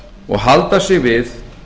og halda sig við